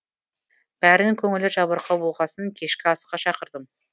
бәрінің көңілі жабырқау болғасын кешкі асқа шақырдым